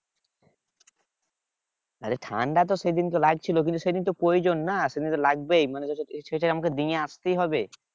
আরে ঠান্ডা তো সেদিনকে লাগছিল কিন্তু সেদিন তো প্রয়োজন না সেদিন তো লাগবেই মানে সেটা আমাকে নিয়ে আসতেই হবে